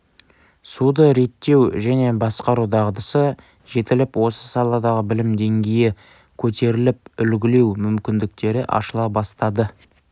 суды реттеу және басқару дағдысы жетіліп осы саладағы білім деңгейі көтеріліп үлгілеу мүмкіндіктері ашыла бастады